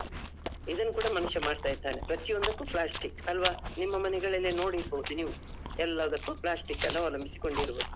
ಇದನ್ನು ಕೂಡ ಮನುಷ್ಯ ಮಾಡ್ತಾ ಇದ್ದಾನೆ ಪ್ರತಿಯೊಂದಕ್ಕೂ plastic ಅಲ್ವಾ? ನಿಮ್ಮ ಮನೆಗಳಲ್ಲಿ ನೋಡಿರ್ಬೋದು ನೀವು. ಎಲ್ಲದಕ್ಕೂ plastic ಗಳನ್ನೂ ಅವಲಂಬಿಸಿಕೊಂಡಿರುವುದು.